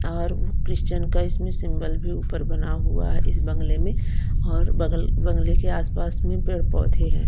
और क्रिश्चियन का इसमें सिंबल भी ऊपर बना हुआ है इस बंगले में और बगल बंगले के आस पास में पेड़ पौधे हैं।